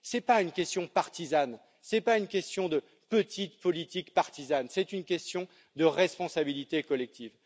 Ce n'est pas une question partisane, ce n'est pas une question de petite politique partisane, c'est une question de responsabilité collective.